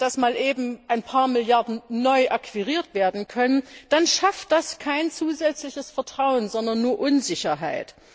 dass mal eben ein paar Milliarden neu akquiriert werden können, dann schafft das kein zusätzliches Vertrauen, sondern nur Unsicherheit.